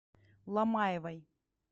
ломаевой